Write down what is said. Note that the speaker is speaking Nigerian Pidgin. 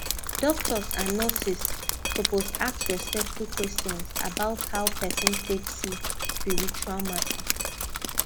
doctors and nurses suppose ask respectful question about how person take see spiritual matter